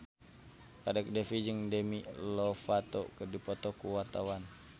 Kadek Devi jeung Demi Lovato keur dipoto ku wartawan